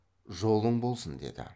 жолың болсын деді